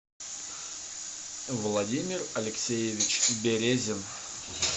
владимир алексеевич березин